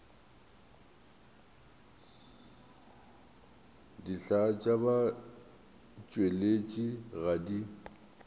dihlaa tša batšweletši ga di